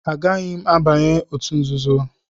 Agaghị m abanye n'òtù nzuzo.